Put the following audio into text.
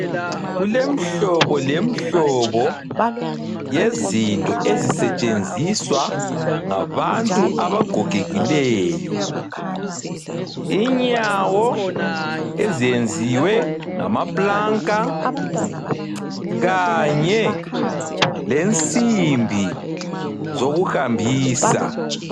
Kulemhlobo lemhlobo yezinto ezisetshenziswa ngabantu abagogekileyo. Inyawo ezenziwe ngamaplanka kanye lensimbi zokuhambisa.